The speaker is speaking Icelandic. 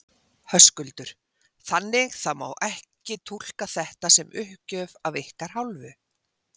Höskuldur: Þannig það má ekki túlka þetta sem uppgjöf af ykkar hálfu?